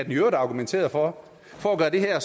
øvrigt argumenterede for for at gøre det her